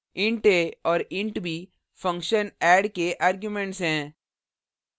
int a और int b function add के arguments हैं